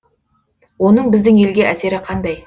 оның біздің елге әсері қандай